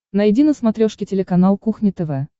найди на смотрешке телеканал кухня тв